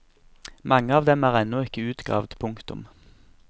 Mange av dem er ennå ikke utgravd. punktum